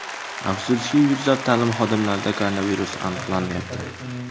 Afsuski, yuzlab ta’lim xodimlarida koronavirus aniqlanyapti .